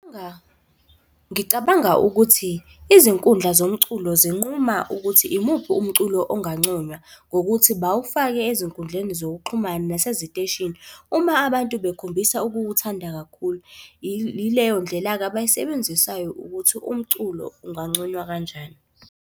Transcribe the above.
Ngicabanga ukuthi izinkundla zomculo zinquma ukuthi imuphi umculo onganconywa, ngokuthi bawufake ezinkundleni zokuxhumana naseziteshini uma abantu bekhombisa ukuwuthanda kakhulu ileyo ndlela-ke abayisebenzisayo ukuthi umculo unganconywa kanjani.